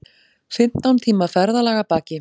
Fimmtán tíma ferðalag að baki